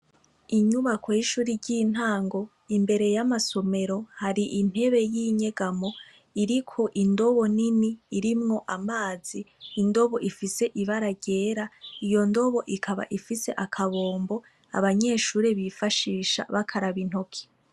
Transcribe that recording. Inyubako y' ishuri ry' intango imbere y' amasomero hari intebe y' inyegamo iriko indobo nini irimwo amazi indobo ifise ibara ryera iyo ndobo ikaba ifise akabombo abanyeshure bifashisha bakaraba intoke.